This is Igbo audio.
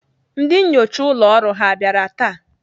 Ndị nnyocha ụlọ ọrụ ha bịara taa?